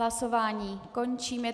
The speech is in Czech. Hlasování končím.